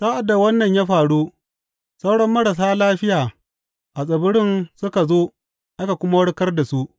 Sa’ad da wannan ya faru, sauran marasa lafiya a tsibirin suka zo aka kuma warkar da su.